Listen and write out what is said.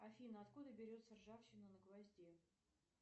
афина откуда берется ржавчина на гвозде